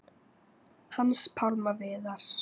Hans Pálma Viðars.